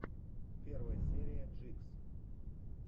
первая серия джикс